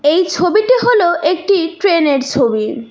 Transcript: এই ছবিটি হল একটি ট্রেনের ছবি।